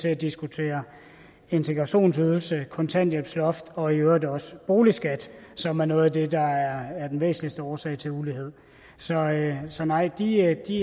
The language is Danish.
at diskutere integrationsydelse kontanthjælpsloft og i øvrigt også boligskat som er noget af det der er den væsentligste årsag til ulighed så nej så nej de